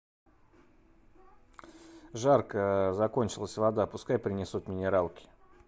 жарко закончилась вода пускай принесут минералки